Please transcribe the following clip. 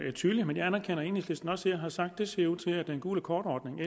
er tydelig men jeg anerkender at enhedslisten også her har sagt at det ser ud til at den gule kort ordning